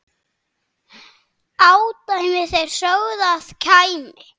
ódæmi þeir sögðu að kæmi.